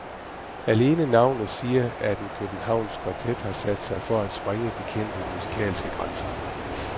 Alene navnet siger, at en københavnsk kvartet har sat sig for at sprænge de kendte musikalske grænser.